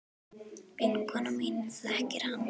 Vinkona mín þekkir hann.